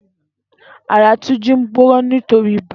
Àrà Tunji n gbónà nitóri ibà